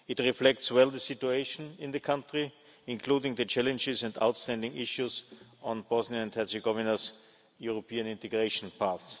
It reflects well the situation in the country, including the challenges and outstanding issues on Bosnia and Herzegovina's European integration path.